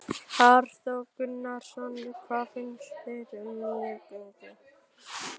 Hafþór Gunnarsson: Hvað finnst þér um nýju göngin?